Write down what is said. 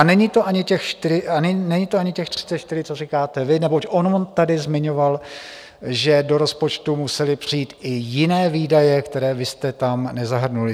A není to ani těch 34, co říkáte vy, neboť on tady zmiňoval, že do rozpočtu musely přijít i jiné výdaje, které vy jste tam nezahrnuli.